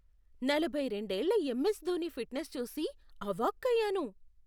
నలభై రెండేళ్ల MS Dhoni fitness చూసి అవాక్కయ్యాను.